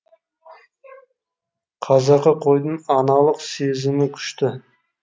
қазақы қойдың аналық сезімі күшті